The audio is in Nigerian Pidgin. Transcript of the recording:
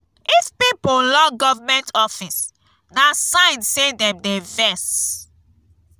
if pipo lock government office na sign say dem dey vex.